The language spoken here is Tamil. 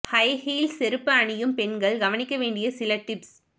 ஹை கீல்ஸ் செருப்பு அணியும் பெண்கள் கவனிக்க வேண்டிய சில டிப்ஸ்